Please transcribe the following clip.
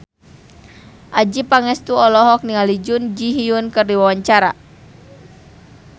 Adjie Pangestu olohok ningali Jun Ji Hyun keur diwawancara